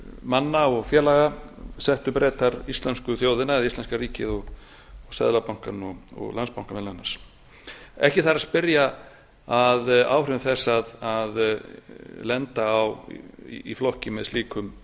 manna og félaga settu bretar íslensku þjóðina eða íslenska ríkið seðlabankann og landsbankann meðal annars ekki þarf að spyrja að áhrifum þess að lenda í flokki með